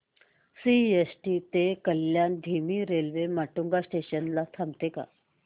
CST ते कल्याण धीमी railway Matunga station ला थांबते का